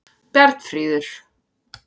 Bjarnfríður